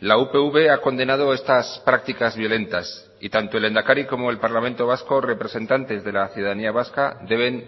la upv ha condenado estas prácticas violentas y tanto el lehendakari como el parlamento vasco representantes de la ciudadanía vasca deben